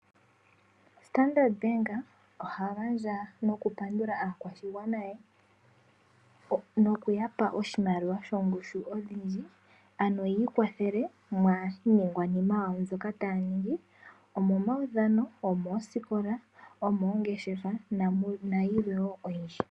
Standard Bank oha gandja nokupandula aakwashigwana ye nokuya pa oshimaliwa shomwaalu ogundji, ano yi ikwathele miiningwanima yawo mbyoka taya ningi; omomaudhano, omoosikola, omoongeshefa nayilwe wo oyindji.